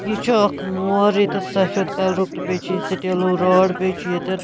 .یہِ چُھ اکھ مور ییٚتٮ۪تھ سفید کلرُک تہٕ بیٚیہِ چھ یہِ سِٹیٖلوٗ راڑ بیٚیہِ چُھ ییٚتٮ۪ن